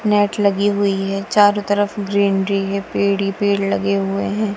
Net लगी हुई है चारों तरफ ग्रीनरी है पेड़ ही पेड़ लगे हुए हैं।